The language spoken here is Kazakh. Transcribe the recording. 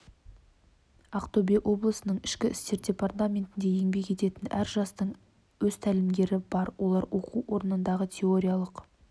ақтөбе облысының ішкі істер департаментінде еңбек ететін әр жастың өз тәлімгері бар олар оқу орнындағы теориялық